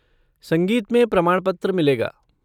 संगीत में प्रमाणपत्र मिलेगा।